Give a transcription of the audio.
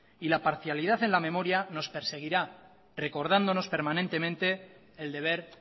y la parcialidad en la memoria nos perseguirá recordándonos permanentemente el deber